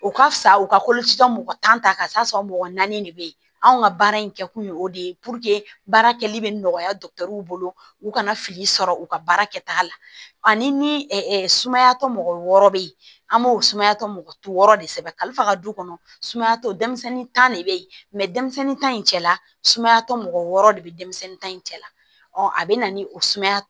O ka fisa u ka koloci mɔgɔ tan ka sɔrɔ mɔgɔ naani de bɛ yen anw ka baara in kɛ kun ye o de ye baara kɛli bɛ nɔgɔya dɔgɔtɔrɔw bolo u kana fili sɔrɔ u ka baara kɛta la ani ɛ sumaya tɔ mɔgɔ wɔɔrɔ bɛ yen an b'o sumaya tɔ mɔgɔ tu wɔɔrɔ de sɛbɛn kalifa ka du kɔnɔ sumaya tɔ denmisɛnnin tan de bɛ yen denmisɛnnin ta in cɛla sumayatɔ mɔgɔ wɔɔrɔ de bɛ denmisɛnnin ta in cɛ la a bɛ na ni o sumaya